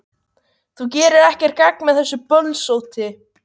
Þú gerir ekkert gagn með þessu bölsóti,